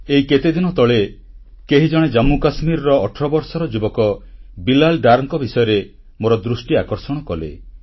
ଏଇ କେତେଦିନ ତଳେ କେହି ଜଣେ ଜାମ୍ମୁ କାଶ୍ମୀରର 18 ବର୍ଷର ଯୁବକ ବିଲାଲ୍ ଡରଙ୍କ ବିଷୟରେ ମୋର ଦୃଷ୍ଟି ଆକର୍ଷଣ କଲେ